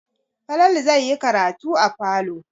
Falalu zai yi karatu a falo.